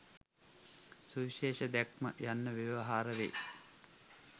සුවිශේෂ දැක්ම යන්න ව්‍යවහාරවෙයි.